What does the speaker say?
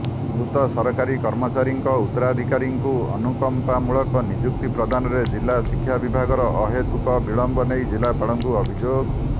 ମୃତ ସରକାରୀ କର୍ମଚାରୀଙ୍କ ଉତ୍ତରାଧିକାରୀଙ୍କୁ ଅନୁକମ୍ପାମୂଳକ ନିଯୁକ୍ତି ପ୍ରଦାନରେ ଜିଲ୍ଲା ଶିକ୍ଷା ବିଭାଗର ଅହେତୁକ ବିଳମ୍ବ ନେଇ ଜିଲ୍ଲାପାଳଙ୍କୁ ଅଭିଯୋଗ